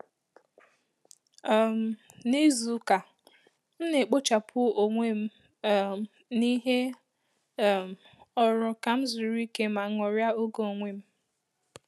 um Na izu ụka, m na-ekpochapụ onwe um m n’ihe um ọrụ ka m zuru ike ma ṅụrịa ògè onwe m